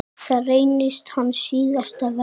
Það reynist hans síðasta verk.